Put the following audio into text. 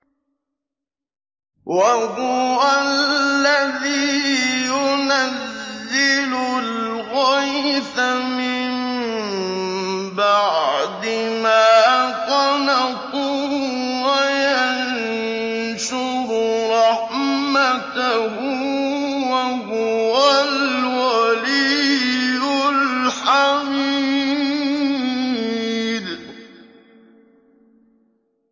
وَهُوَ الَّذِي يُنَزِّلُ الْغَيْثَ مِن بَعْدِ مَا قَنَطُوا وَيَنشُرُ رَحْمَتَهُ ۚ وَهُوَ الْوَلِيُّ الْحَمِيدُ